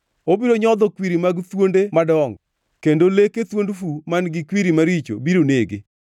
Obiro nyodho kwiri mag thuonde madongo; kendo leke thuond fu man-gi kwiri maricho biro nege.